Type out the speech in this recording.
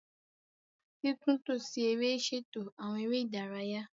Titunto si ere ṣeto awọn ere idaraya